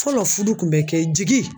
Fɔlɔ furu kun bɛ kɛ jigi